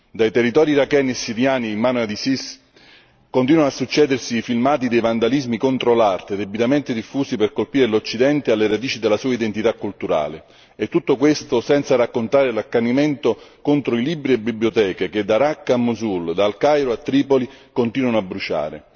Dai territori iracheni e siriani in mano all'Isis continuano a succedersi i filmati dei vandalismi contro l'arte debitamente diffusi per colpire l'Occidente alle radici della sua identità culturale e tutto questo senza raccontare l'accanimento contro libri e biblioteche che da Raqqa a Mosul, dal Cairo a Tripoli continuano a bruciare.